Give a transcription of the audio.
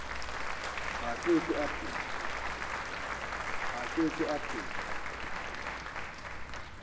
a ke ke a phela